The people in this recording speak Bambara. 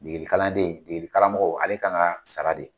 Degeli kalanden degeli karamɔgɔ ale kan ka sara de